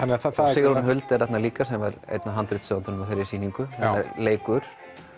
Sigrún Huld er þarna líka sem er einn af handritshöfundum af þeirri sýningu hún leikur